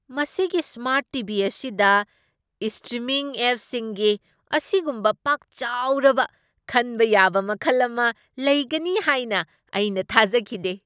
ꯃꯁꯤꯒꯤ smart T. V. ꯑꯁꯤꯗ streaming ꯑꯦꯞꯁꯤꯡꯒꯤ ꯑꯁꯤꯒꯨꯝꯕ ꯄꯥꯛ ꯆꯥꯎꯔꯕ ꯈꯟꯕ ꯌꯥꯕ ꯃꯈꯜ ꯑꯃ ꯂꯩꯒꯅꯤ ꯍꯥꯏꯅ ꯑꯩꯅ ꯊꯥꯖꯈꯤꯗꯦ ꯫